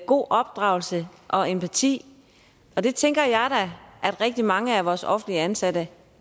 god opdragelse og empati og det tænker jeg da at rigtig mange af vores offentligt ansatte